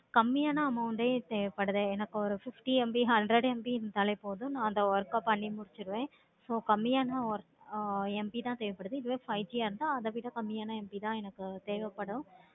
கம்மியான amount ஏ தேவைப்படுது எனக்கு ஒரு fifty MB hundred MB கொடுத்தாலே போதும் அந்த work ஆஹ் பண்ணி முடிஜிடுவேன். so கம்மியான MB தான் தேவைப்படுது. அத விட கம்மியான MB தான் எனக்கு தேவைப்படும்.